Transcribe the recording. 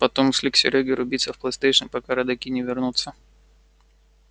потом шли к серёге рубиться в плейстейшн пока родаки не вернутся